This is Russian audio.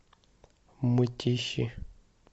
мытищи